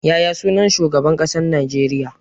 Yaya sunan shugaban ƙasar Najeriya?